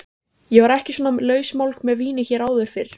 Ég var ekki svona lausmálg með víni hér áður fyrr.